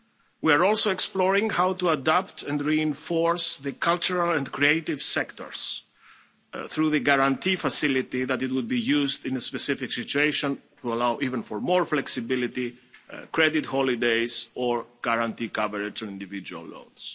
We are also exploring how to adapt and reinforce the cultural and creative sectors through the Guarantee Facility that would be used in a specific situation to allow for even more flexibility, credit holidays or guarantee cover to individual loss.